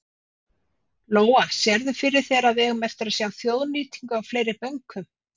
Lóa: Sérðu fyrir þér að við eigum eftir að sjá þjóðnýtingu á fleiri bönkum?